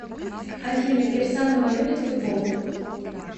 афина кирсанова любит футбол